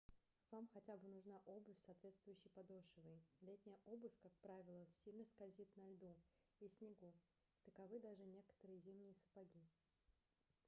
вам хотя бы нужна обувь с соответствующей подошвой летняя обувь как правило сильно скользит на льду и снегу таковы даже некоторые зимние сапоги